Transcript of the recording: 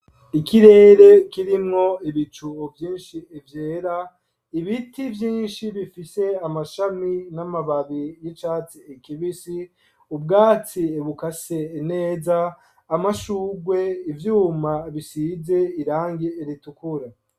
Ikirere kirimwo ibicu vyishi vyera ibiti vyishi bifise amashami n'amababi y'icatsi kibisi ubwatsi bukase neza amashurwe ivyuma bisize irangi ritukura